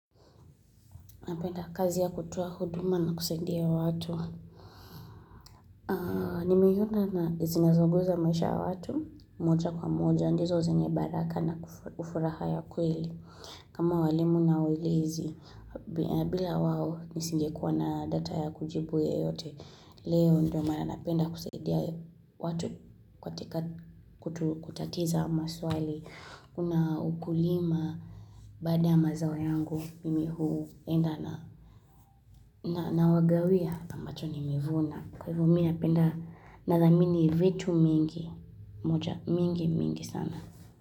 Napenda kazi ya kutowa huduma na kusaidia watu. Nimeiona na zinazoguza maisha watu, moja kwa moja, ndizo zenye baraka na ufuraha ya kweli. Kama walimu na uelezi, bila wawo nisingekuwa na data ya kujibu yeyote, leo ndio mana napenda kusaidia watu katika kutatiza maswali. Kuna ukulima Baada ya mazao yangu Mimi huenda na Nawagawia ambacho nimevuna napenda Nathamini vitu mingi mingi mingi sana.